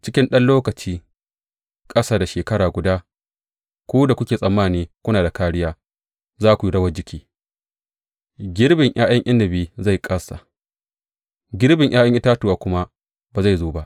Cikin ɗan lokaci ƙasa da shekara guda ku da kuke tsammani kuna da kāriya za ku yi rawar jiki; girbin ’ya’yan inabi zai kāsa, girbin ’ya’yan itatuwa kuma ba zai zo ba.